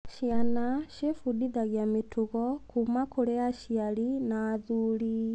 Ciana ciebundithagia mĩtugo kuuma kwa aciari na athuri.